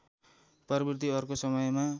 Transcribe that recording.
प्रवृत्ति अर्को समयमा